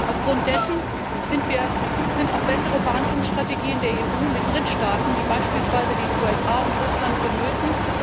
Aufgrund dessen sind auch bessere Verhandlungsstrategien der EU mit Drittstaaten, wie beispielsweise den USA und Russland, vonnöten.